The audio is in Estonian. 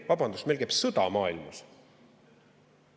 Vabandust, meil käib sõda maailmas!